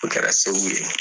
O kɛra segu ye.